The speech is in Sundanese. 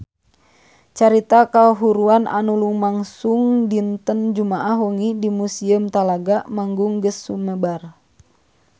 Carita kahuruan anu lumangsung dinten Jumaah wengi di Museum Talaga Manggung geus sumebar kamana-mana